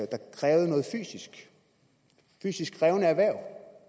der krævede noget fysisk i fysisk krævende erhverv